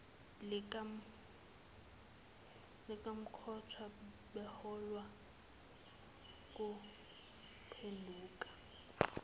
likamkhonto beholwa nguphenduka